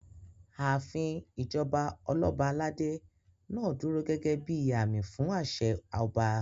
Ààfin ìjọba Ọlọ́ba aládé náà dúró gẹ́gẹ́ bíi àmì fún àṣẹ ọba